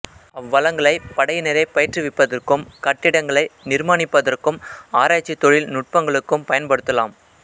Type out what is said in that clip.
அவ்வளங்களை படையினரை பயிற்றுவிப்பதற்கும் கட்டிடங்களை நிர்மாணிப்பதற்கும் ஆராய்ச்சி தொழில்நுட்பங்களுக்கும் பயன்படுத்தலாம்